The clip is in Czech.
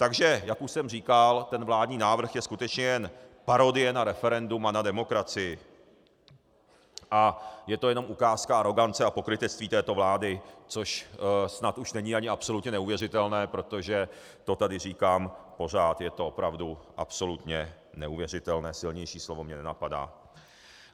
Takže jak už jsem říkal, ten vládní návrh je skutečně jen parodie na referendum a na demokracii a je to jenom ukázka arogance a pokrytectví této vlády, což snad už není ani absolutně neuvěřitelné, protože to tady říkám pořád, je to opravdu absolutně neuvěřitelné, silnější slovo mě nenapadá.